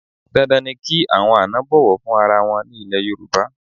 Dandan ni kí àwọn àna bọ̀wọ̀ fún ara wọn ní ilẹ̀ Yorùbá.